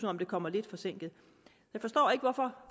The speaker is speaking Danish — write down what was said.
om det kommer lidt forsinket jeg forstår ikke hvorfor